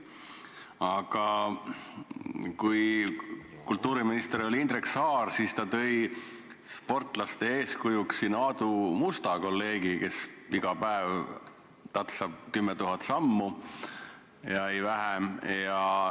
Aga kui kultuuriminister oli Indrek Saar, siis ta tõi meile eeskujuks Aadu Musta, kolleegi, kes iga päev tatsab 10 000 sammu ja mitte vähem.